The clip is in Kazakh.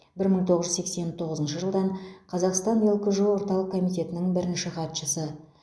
бір мың тоғыз жүз сексен тоғызыншы жылдан қазақстанның лкжо орталық комитетінің бірінші хатшысы